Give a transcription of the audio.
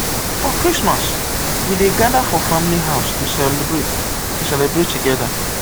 for christmas we dey gather for family house to celebrate to celebrate together.